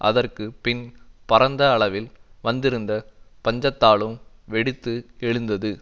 அதற்கு பின் பரந்த அளவில் வந்திருந்த பஞ்சத்தாலும் வெடித்து எழுந்தது